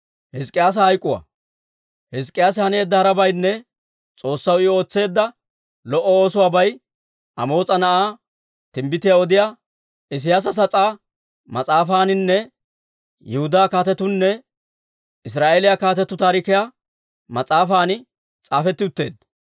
Hizk'k'iyaase haneedda harabaynne S'oossaw I ootseedda lo"o oosuwaabay Amoos'a Na'aa, Timbbitiyaa Odiyaa Isiyaasa sas'aa Mas'aafaaninne Yihudaa Kaatetuunne Israa'eeliyaa Kaatetuu Taarikiyaa mas'aafan s'aafetti utteedda.